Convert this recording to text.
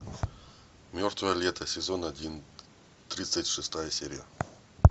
мертвое лето сезон один тридцать шестая серия